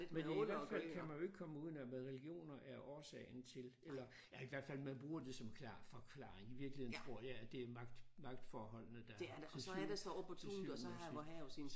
Men i hvert fald kan man jo ikke komme uden om at religioner er årsagen til eller ja i hvert fald man bruger det som klar forklaring i virkeligheden tror jeg at det er magt magtforholdene der til til syvende og sidst